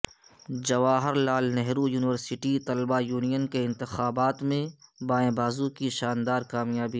Jawahar Lal Nehru university طلبہ union کے انتخابات میں بائیں بازو کی شاندار کامیابی